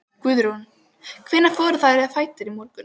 Guðrún: Hvenær fóruð þið á fætur í morgun?